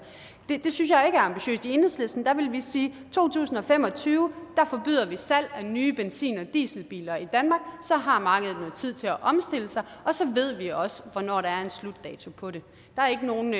det synes jeg ikke er ambitiøst i enhedslisten ville vi sige i to tusind og fem og tyve forbyder vi salg af nye benzin og dieselbiler i danmark så har markedet noget tid til at omstille sig og så ved vi også hvornår der er en slutdato på det der er ikke nogen